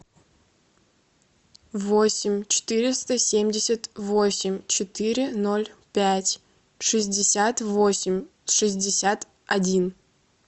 восемь четыреста семьдесят восемь четыре ноль пять шестьдесят восемь шестьдесят один